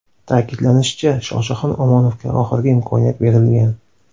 Ta’kidlanishicha, Shohjahon Omonovga oxirgi imkoniyat berilgan.